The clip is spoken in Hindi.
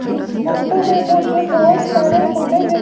इस फोटो में मुझे बोहोत सारे घोड़े दी--